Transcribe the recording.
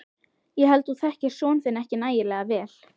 Ég held þú þekkir son þinn ekki nægilega vel.